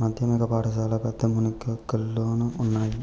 మాధ్యమిక పాఠశాల పెద్దమునిగల్లోనూ ఉన్నాయి